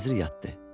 Vəzir yatdı.